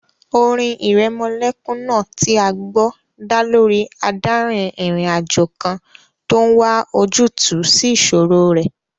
Orin ìrẹmọlẹ́kún náà tí a gbọ́ dá lórí adárin-ìrìnàjò kan tó n wá ojútùú sí ìṣòro rẹ̀